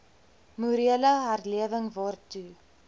morele herlewing waartoe